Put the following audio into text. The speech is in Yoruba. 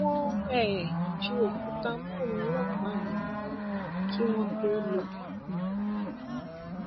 wọn ń um ju òkúta mọ àwọn ọlọpàá yẹn ni kí wọn tóó lọ um